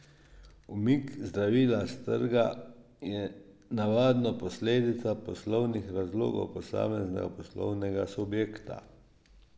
Umik zdravila s trga je navadno posledica poslovnih razlogov posameznega poslovnega subjekta.